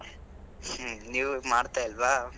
ಹ್ಮ್, ನೀವೂ ಇಗ್ ಮಾಡತಾಯಿಲ್ವಾ?